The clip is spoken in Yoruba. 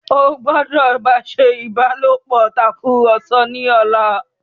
o gbódò bá ṣe ìbálòpọ̀ Tàkùrọ̀sọ ní ọlá!